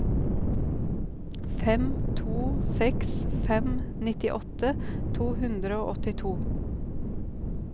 fem to seks fem nittiåtte to hundre og åttito